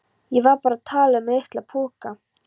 Ég var bara að tala um LITLA poka!